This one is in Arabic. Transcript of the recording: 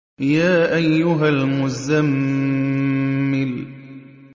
يَا أَيُّهَا الْمُزَّمِّلُ